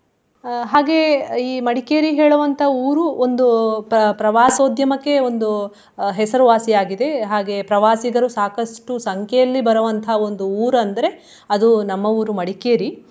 ಅಹ್ ಹಾಗೆ ಈ ಮಡಿಕೇರಿ ಹೇಳುವಂತಾ ಊರು ಒಂದು ಪ್ರ~ ಪ್ರವಾಸೋದ್ಯಮಕ್ಕೆ ಒಂದು ಅಹ್ ಹೆಸರುವಾಸಿ ಆಗಿದೆ. ಹಾಗೆ ಪ್ರಾವಾಸಿಗರು ಸಾಕಷ್ಟು ಸಂಖ್ಯೆಯಲ್ಲಿ ಬರುವಂತ ಒಂದು ಊರು ಅಂದ್ರೆ ಅದು ನಮ್ಮ ಊರು ಮಡಿಕೇರಿ.